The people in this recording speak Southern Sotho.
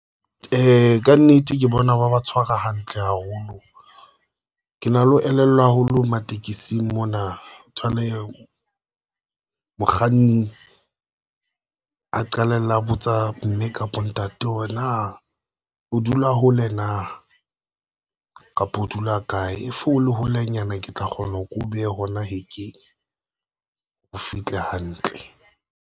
Ka nnete, ke bona ba ba tshwara hantle haholo. Ke na le ho elellwa haholo matekesi mona o thole mokganni a qalella botsa mme kapa ntate hore na o dula hole na kapa o dula kae e fole holenyana ke tla kgona ho ke o behe hona hekeng, o fihle hantle.